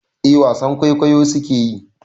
Eh wasan kwaikwayo su ke yi.